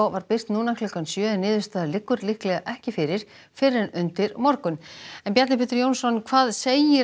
var birt núna klukkan sjö en niðurstaða liggur líklega ekki fyrir fyrr en undir morgun Bjarni Pétur Jónsson hvað segir